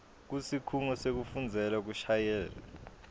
kusikhungo sekufundzela kushayela